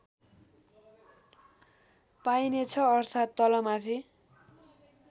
पाइनेछ अर्थात् तलमाथि